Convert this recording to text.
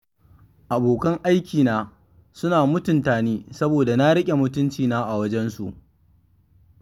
Abokan aikina suna mutuntani saboda na riƙe mutuncina a wajen su.